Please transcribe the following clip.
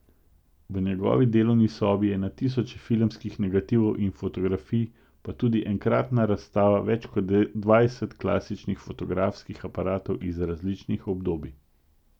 V njegovi delovni sobi je na tisoče filmskih negativov in fotografij pa tudi enkratna razstava več kot dvajset klasičnih fotografskih aparatov iz različnih obdobij.